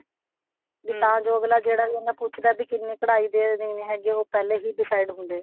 ਵੀ ਤਾਂ ਜੋ ਅੱਗਲਾ ਜਿਹੜਾ ਵੀ ਉਹਨੂੰ ਪੁੱਛਦਾ ਵੀ ਕਿੰਨੇ ਕਡਾਈ ਦੇ ਦੇਣੇ ਹੈਗੇ ਉਹ ਪਹਿਲਾਂ ਹੀ decide ਹੁੰਦੇ